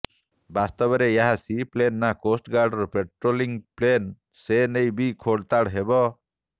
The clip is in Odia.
ବାସ୍ତବରେ ଏହା ସି ପ୍ଲେନ ନା କୋଷ୍ଟଗାର୍ଡର ପାଟ୍ରୋଲିଙ୍ଗ ପ୍ଲେନ ସେନେଇ ବି ଖୋଲତାଡ ହେବ